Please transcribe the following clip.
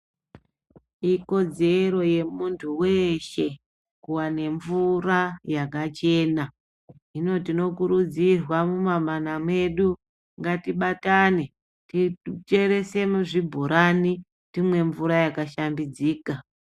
Ikodzero yemuntu weshe kuwane mvura yakachena. Hino tinokurudzirwa mumamana medu ngatibatane kucheresa zvibhorani timwe mvura yakashambidzika.